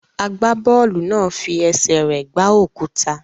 Agbábọ́ọ̀lù náà fi ẹsẹ̀ rẹ̀ gbá òkúta.